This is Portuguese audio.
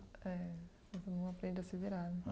É, não aprende a se virar, né?